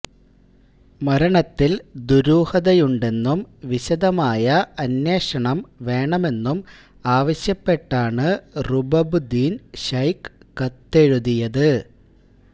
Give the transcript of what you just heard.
മരണത്തില് ദുരൂഹതയുണ്ടെന്നും വിശദമായ അന്വേഷണം വേണമെന്നും ആവശ്യപ്പെട്ടാണ് റുബബുദ്ദീന് ശൈഖ് കത്തെഴുതിയത്